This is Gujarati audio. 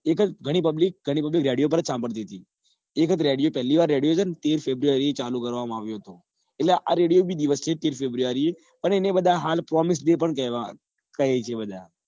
એ વખતે ઘણી publicredio પર જ સંભાળતી હતી એ વખતે પેલી વાર radio છે ને તેર february જ ચાલુ કરવા માં આવ્યો હતો એટલે આ radio બી દિવસ તેર february એ અને એને હાલ promiseday પણ કહે છે બધા